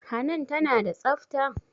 Hanan tana da tsafta?